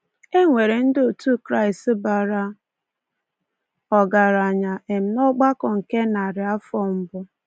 E nwere ndị otu Kraịst bara ọgaranya um n’ọgbakọ nke narị afọ mbụ.